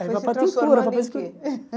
Aí vai para a pintura,